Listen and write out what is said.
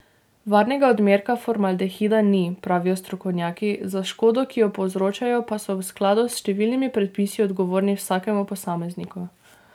Varnega odmerka formaldehida ni, pravijo strokovnjaki, za škodo, ki jo povzročajo, pa so v skladu s številnimi predpisi odgovorni vsakemu posamezniku.